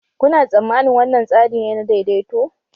Kuna tsammanin wannan tsari ne na daidaito?